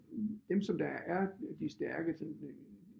Dem som der er de stærke